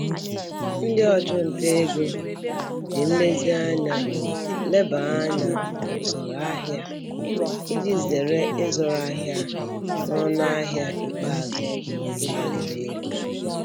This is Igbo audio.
Ndị ọchụnta ego ji nlezianya leba anya n'usoro ahịa iji zere ịzụrụ ahịa n'ọnụ ahịa ikpeazụ nke gbaliri elu.